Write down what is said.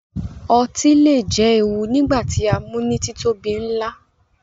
Ọtí le jẹ ewu nigba ti a mu ni titobi nla